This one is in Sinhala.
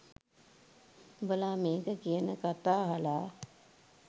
උඹලා මේක කියන කතා අහලා